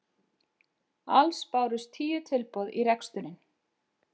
Alls bárust tíu tilboð í reksturinn